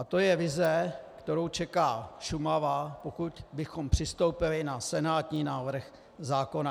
A to je vize, kterou čeká Šumava, pokud bychom přistoupili na senátní návrh zákona.